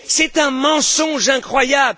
C'est un mensonge incroyable!